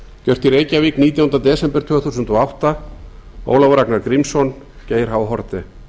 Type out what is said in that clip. gjört í reykjavík nítjánda desember tvö þúsund og átta ólafur ragnar grímsson geir h haarde